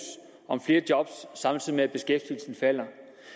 om flere job samtidig med at beskæftigelsen falder